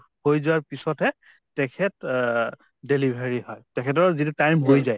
হৈ যোৱাৰ পিছত হে তেখেত অ delivery হয় । তেখেতৰ যিটো time হৈ যায় ।